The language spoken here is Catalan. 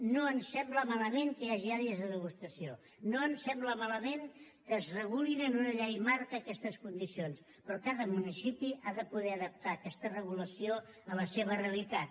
no ens sembla malament que hi hagi àrees de degustació no ens sembla malament que es regulin en una llei marc aquestes condicions però cada municipi ha de poder adaptar aquesta regulació a la seva realitat